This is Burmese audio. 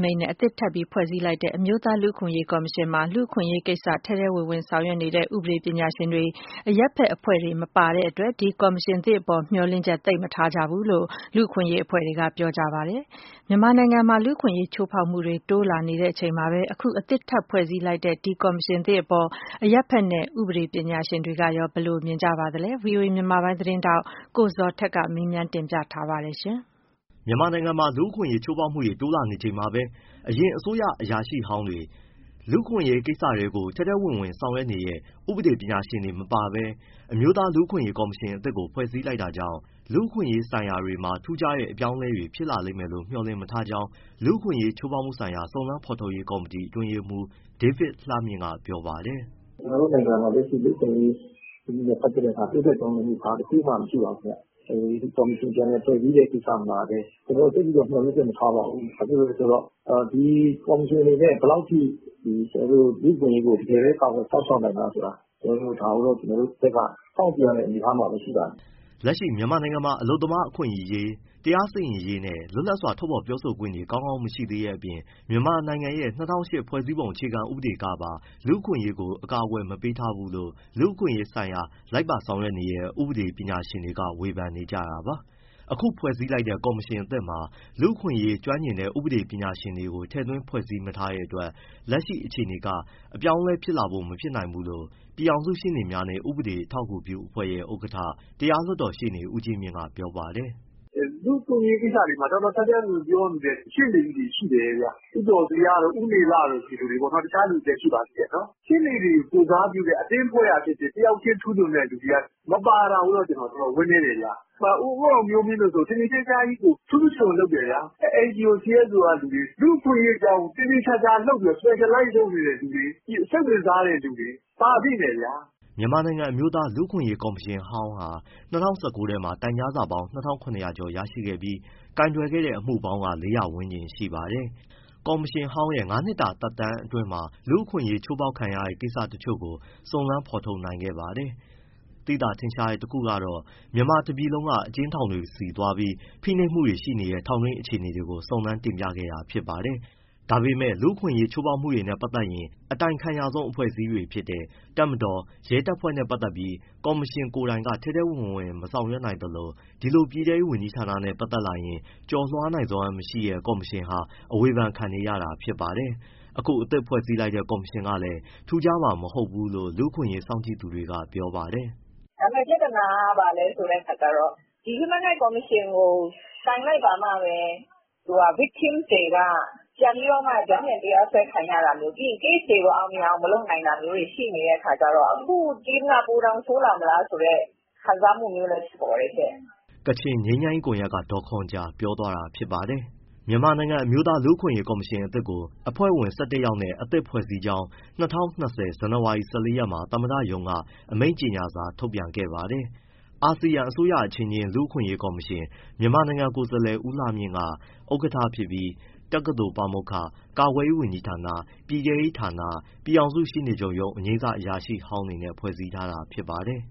မိန့်နဲ့ အသစ်ထပ်ပြီးဖွဲ့စည်းလိုက်တဲ့ အမျိုးသားလူ့အခွင့်အရေးကော်မရှင်မှာ လူ့အခွင့်အရေးကိစ္စ ထဲထဲဝင်ဝင်ဆောင်ရွက်နေတဲ့ ဥပဒေ ပညာရှင်တွေ၊ အရပ်ဘက်အဖွဲ့တွေ မပါဝင်တဲ့ အတွက် ဒီကော်မရှင်သစ် အပေါ် မျှော်လင့်ချက် သိပ်မထားကြဘူးလို့ လူ့အခွင့်အရေး အဖွဲ့တွေက ပြောပါတယ်။ မြန်မာနိုင်ငံမှာ လူ့အခွင့်ရေး ချိုးဖောက်မှုတွေ တိုးလာနေချိန်မှာပဲ အခုအသစ် ထပ်ဖွဲ့စည်းလိုက်တဲ့ ဒီကော်မရှင်သစ် အပေါ် အရပ်ဘက်နဲ့ ဥပဒေပညာရှင်တွေ က ဘယ်လို မြင်ကြပါသလဲ။ ဗွီအိုအေ မြန်မာပိုင်းသတင်းထောက် ကိုဇော်ထက်က မေးမြန်းတင်ပြပေးထားပါတယ်။ မြန်မာနိုင်ငံမှာ လူ့အခွင့်ရေး ချိုးဖောက်မှုတွေ တိုးလာနေချိန်မှာပဲ အရင် အစိုးရအရာရှိဟောင်းတွေ၊ လူ့အခွင့်အရေး ကိစ္စကို ထဲထဲဝင်ဝင်ပါဝင် ဆောင်ရွက်နေတဲ့ ဥပဒေပညာရှင်တွေ မပါပဲ အမျိုးသား လူ့အခွင့်အရေးကော်မရှင်အသစ်ကို ဖွဲ့စည်း လိုက်တာ ကြောင့် လူ့အခွင့်အရေး ဆိုင်ရာမှာ ထူးခြားတဲ့ အပြောင်းအလဲတွေ ဖြစ်လာမယ်လို့ မျှော်လင့် မထားကြောင်း လူ့အခွင့်အရေးချိုးဖောက်မှုဆိုင်ရာ စုံစမ်းဖော်ထုတ်ရေးကော်မတီ အတွင်းရေးမှူး ဒေးဗစ်လှမြင့်က ပြောပါတယ်။ “ ကျနော်တို့နိုင်ငံမှာ လူ့အခွင့်အရေး စနစ်နဲ့ပတ်သက်တာ ဘာတခုမှပြောင်းလဲတာမရှိပါဘူး။ ကော်မရှင်အသစ် ပြန်ဖွဲ့စည်းတဲ့ကိစ္စမှာလည်း ကျနော်တို့ သိပ်ပြီး မျှောလင့်ချက် မထားပါဘူး။ ဘာဖြစ်လို့လဲဆိုတော့ ဒီကော်မရှင်အနေနဲ့ ဘယ်လောက်ထိ တကယ်ပဲ လူ့အခွင့်အရေးကို ကာကွယ် စောင့်ရှောက်နိုင်မလားဆိုတာ စောင့်ကြည့်ရမယ့် အနေအထားမှာပဲ ရှိပါတယ်။” လက်ရှိမှာ နိုင်ငံတွင်းမှာ အလုပ်သမားအခွင့်အရေး၊ တရားစီရင်ရေးနဲ့ လွတ်လပ်စွာ ထုတ်ဖော်ပြောဆိုခွင့်တွေ ကောင်းကောင်း မရှိသေးတဲ့ အပြင် မြန်မာနိုင်ငံရဲ့ ၂၀၀၈ ဖွဲ့စည်းပုံ အခြေခံ ဥပဒေ ကပါ လူ့အခွင့်အရေးကို အကာအကွယ် မပေးထားဘူးလို့ လူ့အခွင့်ရေး ဆိုင်ရာ လိုက်ပါ ဆောင်ရွက်နေတဲ့ ဥပဒေ ပညာရှင်တွေက ဝေဖန်နေကြတာပါ။ အခုဖွဲ့စည်းလိုက်တဲ့ ကော်မရှင်အသစ်မှာ လူ့အခွင့်အရေး ကျွမ်းကျင်တဲ့ ဥပဒေပညာရှင်တွေ ကိုထည့်သွင်း ဖွဲ့စည်း မထားတဲ့ အတွက် လက်ရှိ အခြေနေကနေ ပြောင်းလဲလာဖို့ မဖြစ်နိုင်ဘူးလို့ ပြည်ထောင်စုရှေ့နေများနှင့် ဥပဒေ အထောက်အကူပြုအဖွဲ့ရဲ့ ဥက္ကဋ္ဌ တရားလွှတ်တော်ရှေ့နေ ဦးကြီးမြင့် ပြောပါတယ်။ “ လူ့အခွင့်အရေးကိစ္စမှာ ထဲထဲဝင်ဝင်ပြောနေတဲ့ ရှေ့နေကြီးတွေရှိတယ်ဗျ။ ဦးကျော်ဇေယျတို့၊ ဦးနေလတို့ ဒီလူတွေပေါ့။ တခြားသူတွေလည်း ရှိပါသေးတယ်။ ရှေ့နေတွေကို ကိုယ်စားပြုတဲ့ အသင်းအဖွဲ့ကဖြစ်ဖြစ် တယောက်ချင်းထူးချွန်တဲ့သူတွေက မပါတာတော့ တော်တော် ဝမ်းနည်းတယ်ဗျာ။ ဦးအောင်မျိုးမင်းဆိုရင် ထင်ထင်ရှားရှားကြီးကို ထူးထူးချွန်ချွန်လုပ်တယ်ဗျာ၊ NGO, CSO ကလူတွေ၊ လူ့အခွင့်ရေးအကြောင်း specialize လုပ်နေတဲ့သူတွေ၊ စိတ်ဝင်စားတဲ့သူတွေ ပါသင့်တယ်ဗျာ။” မြန်မာနိုင်ငံအမျိုးသား လူ့အခွင့်အရေးကော်မရှင်ဟောင်းဟာ ၂၀၁၉ ထဲမှာ တိုင်ကြားစာ ၂၇၀၀ ကျော်ရရှိခဲ့ပြီး၊ ကိုင်တွယ်ခဲ့တဲ့ အမှုပေါင်းက ၄၀၀ ဝန်းကျင်ရှိပါတယ်။ ကော်မရှင်ဟောင်းရဲ့ ငါးနှစ်တာသက်တမ်းမှာ လူ့အခွင့်အရေး ချိုးဖောက်ခံရတဲ့ ကိစ္စတချို့ကိုတော့ စုံစမ်းဖော်ထုတ်နိုင်ခဲ့ပါတယ်။ သိသာထင်ရှားတဲ့ တခုကတော့ မြန်မာတပြည်လုံးက အကျဉ်းထောင်တွေ ဆီသွားပြီး ဖိနှိပ်မှုတွေရှိနေတဲ့ ထောင်တွင်း အခြေအနေတွေ ကို စုံစမ်း၊ တင်ပြခဲ့တာ ဖြစ်ပါတယ်။ ဒါပေမယ့် လူ့အခွင့်အရေးချိုးဖောက်မှုနဲ့ ပတ်သက်ရင် အတိုင်ခံရဆုံးအဖွဲ့အစည်းတွေ ဖြစ်တဲ့ တပ်မတော်နဲ့ ရဲတပ်ဖွဲ့နဲ့ ပတ်သက်ပြီး ကော်မရှင်ကိုယ်တိုင်က ထဲထဲဝင်ဝင် မဆောင်ရွက် သလို ဒီလို ပြည်ထဲရေးဝန်ကြီးဌာနနဲ့ပတ်သက် လာရင် ကျော်လွှား နိုင်စွမ်းမရှိတဲ့ ကော်မရှင်ဟာ အဝေဖန်ခံ နေရတာ ဖြစ်ပါတယ်။ အခု အသစ်ဖွဲ့စည်း လိုက်တဲ့ ကော်မရှင်ကလည်း ထူးမှာ မဟုတ်ဘူးလို့ လူ့အခွင့်ရေး စောင့်ကြည့် သူတွေက ပြောပါတယ်။ “ ပြဿနာက ဘာလဲဆိုတဲ့အခါကျတော့ ဒီ Human Rights ကော်မရှင်ကို တိုင်လိုက်ခါမှပဲ victim တွေက ပြောင်းပြန်တရားစွဲခံရတာမျိုး၊ ပြီးရင် case တွေကို အောင်မြင်အောင် မလုပ်နိုင်တာမျိုးတွေ ရှိနေတဲ့အခါကျတော့ အခု team က ပိုတောင်ဆိုးလာမလားဆိုတဲ့ ခံစားမှုမျိုးလည်း ဖြစ်ပေါ်တယ်ရှင့်။” ကချင်ငြိမ်းချမ်းရေးကွန်ရက်က ဒေါ်ခွန်ဂျာပြောသွားတာ ဖြစ်ပါတယ်။ မြန်မာနိုင်ငံအမျိုးသား လူ့အခွင့်အရေးကော်မရှင် အသစ်ကို အဖွဲ့ဝင် ၁၁ယောက်နဲ့ အသစ် ဖွဲ့စည်းကြောင်း ၂၀၂၀ ဇန်နဝါရီ ၁၄ရက်မှာ သမ္မတရုံးက အမိန့်ကြေညာစာထုတ်ပြန်ခဲ့ပါတယ်။ အာဆီယံအစိုးရအချင်းချင်း လူ့အခွင့်အရေးကော်မရှင် မြန်မာကိုယ်စားလှယ် ဦးလှမြင့်က ဥက္ကဋ္ဌဖြစ်ပြီး တက္ကသိုလ်ပါမောက္ခ၊ ကာကွယ်ရေးဌာန၊ ပြည်ထဲရေးဌာနနဲ့ ပြည်ထောင်စုရှေ့နေချုပ်ရုံး အငြိမ်းစား အရာရှိဟောင်းတွေနဲ့ ဖွဲ့စည်းထားတာဖြစ်ပါတယ်